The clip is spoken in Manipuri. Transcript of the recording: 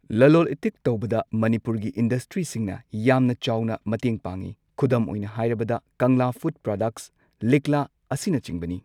ꯂꯂꯣꯜ ꯏꯇꯤꯛ ꯇꯧꯕꯗ ꯃꯅꯤꯄꯨꯔꯒꯤ ꯏꯟꯗꯁꯇ꯭ꯔꯤꯁꯤꯡꯅ ꯌꯥꯝꯅ ꯆꯥꯎꯅ ꯃꯇꯦꯡ ꯄꯥꯡꯏ ꯈꯨꯗꯝ ꯑꯣꯏꯅ ꯍꯥꯏꯔꯕꯗ ꯀꯪꯂꯥ ꯐꯨꯗ ꯄ꯭ꯔꯗꯛꯁ ꯂꯤꯛꯂꯥ ꯑꯁꯤꯅꯆꯤꯡꯕꯅꯤ